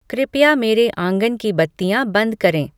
कृपया मेरे आँगन की बत्तियाँ बंद करें